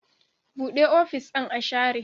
Buɗe ofis ɗin a share